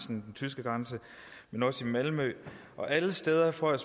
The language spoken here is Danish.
den tyske grænse men også i malmø og alle steder får jeg